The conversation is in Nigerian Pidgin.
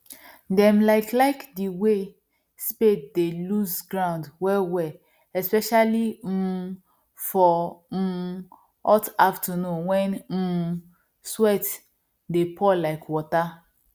dem like like the way spade dey loose ground wellwell especially um for um hot afternoon when um sweat dey pour like water